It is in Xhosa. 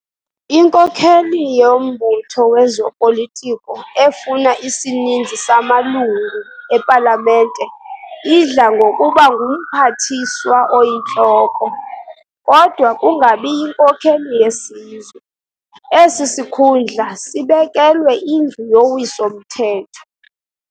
Inkokheli yombutho wezopolitiko efuna isininzi samalungu epalamente idla ngokuba ngumphathiswa oyintloko, kodwa kungabi yinkokheli yesizwe, esi sikhundla sibekelwe indlu yowiso mthetho.